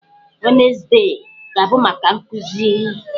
Wednezde ga-abụ maka nkụzi.